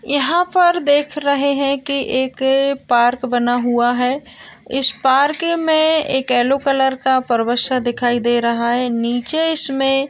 यहाँ पर देख रहे है के एक पार्क बना हुआ है इस पार्क मे एक येलो कलर का परवश दिखाई दे रहा है निचे इसमे--